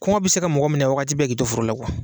Kɔngɔ bɛ se ka mɔgɔ minɛn wagati bɛ k'i to foro la